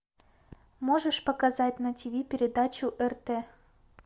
можешь показать на тиви передачу рт